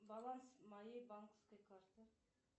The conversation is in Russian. баланс моей банковской карты